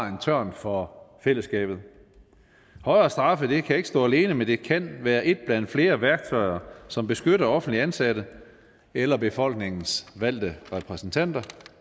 en tørn for fællesskabet højere straffe kan ikke stå alene men det kan være et blandt flere værktøjer som beskytter offentligt ansatte eller befolkningens valgte repræsentanter